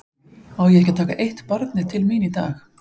Á ég ekki að taka eitt barnið til mín í dag?